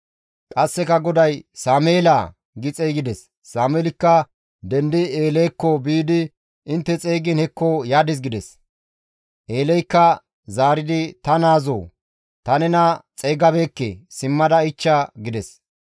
Qasseka GODAY, «Sameelaa!» gi xeygides; Sameelikka dendi Eelekko biidi, «Intte xeygiin hekko yadis» gides; Eeleykka zaaridi, «Ta naazoo! Ta nena xeygabeekke; simmada ichcha» gides.